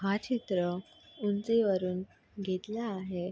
हा चित्र ऊंचीवरुन घेतला आहे.